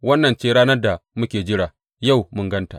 Wannan ce ranar da muke jira; yau mun gan ta.